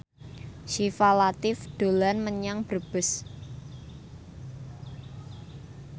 Syifa Latief dolan menyang Brebes